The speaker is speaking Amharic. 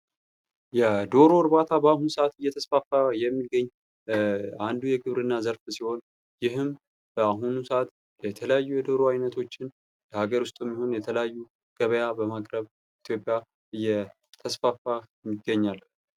የዶሮ እርባታ በአሁን ሰአት የተስፋፋ የሚገኛ አንዱ የግብርና ዘርፍ ሲሆን ይህም በአሁኑ ሰዓት የተለያዩ የዶሮ ዓይነቶችን ለገበያ በማቅረብ በኢትዮጵያ እየተስፋፋ ይገኛል።